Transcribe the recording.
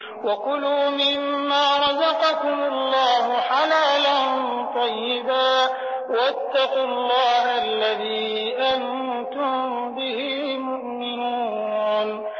وَكُلُوا مِمَّا رَزَقَكُمُ اللَّهُ حَلَالًا طَيِّبًا ۚ وَاتَّقُوا اللَّهَ الَّذِي أَنتُم بِهِ مُؤْمِنُونَ